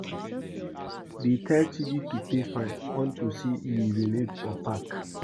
Dey tell Chidi to pay fine unto say he urinate for park